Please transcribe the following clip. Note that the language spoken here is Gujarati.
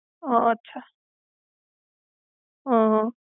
હમ્મ અચ્છા. હમ્મ.